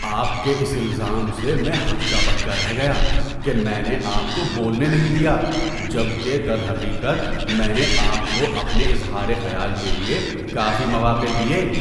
آپ کے اس الزام سے میں ہکا بکا رہ گیا کہ میں نے آپ کو بولنے نہیں دیا جب کہ درحقیقت میں نے آپ کو اپنے اظہار خیال کے لیے کافی مواقع دیے۔